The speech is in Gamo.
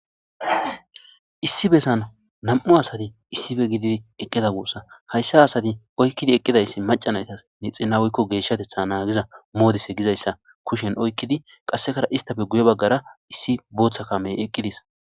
Issi besan nam'u asati issippe gididi eqida gussukko ha asati oyqidi eqidaysi maca naytas geshateta nagiza modise gizaysa kushen oykidi qaseka issi bagara issi Botha kame y eqides